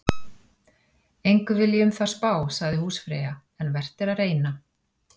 Engu vil ég um það spá, sagði húsfreyja, en vert er að reyna.